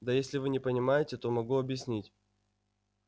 да если вы не понимаете то могу объяснить